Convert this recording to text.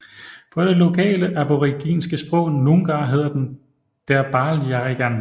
På det lokale aboriginske sprog Noongar hedder den Derbarl Yerrigan